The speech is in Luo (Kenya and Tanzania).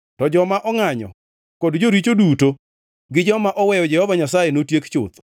To joma ongʼanyo kod joricho duto gi joma oweyo Jehova Nyasaye notiek chuth.